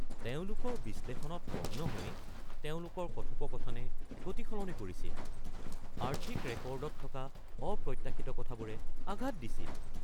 তেওঁলোকৰ বিশ্লেষণত মগ্ন হৈ, তেওঁলোকৰ কথোপকথনে গতি সলনি কৰিছিল, আৰ্থিক ৰেকৰ্ডত থকা অপ্ৰত্যাশিত কথাবোৰে আঘাত দিছিল।